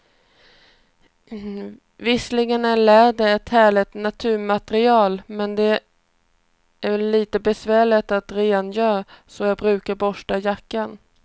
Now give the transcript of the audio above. Visserligen är läder ett härligt naturmaterial, men det är lite besvärligt att rengöra, så jag brukar borsta jackan.